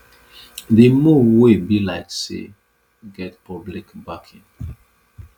di move wey be like say get public backing